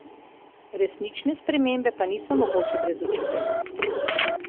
Resnične spremembe pa niso mogoče brez učiteljev.